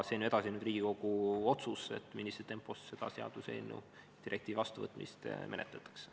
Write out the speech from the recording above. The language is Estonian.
See on ju nüüd Riigikogu otsus, millises tempos seda seaduseelnõu või direktiivi vastuvõtmist menetletakse.